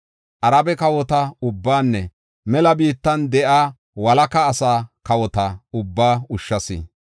Arabe kawota ubbaanne mela biittan de7iya walaka asaa kawota ubbaa ushshas.